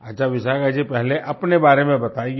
अच्छा विशाखा जी पहले अपने बारे में बताइए